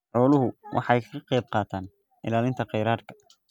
Xooluhu waxay ka qaybqaataan ilaalinta kheyraadka.